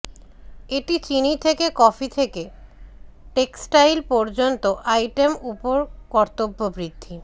এটি চিনি থেকে কফি থেকে টেক্সটাইল পর্যন্ত আইটেম উপর কর্তব্য বৃদ্ধি